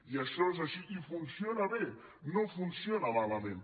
i això és així i funciona bé no funciona malament